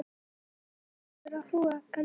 Ljósið skellur á hrúgaldið.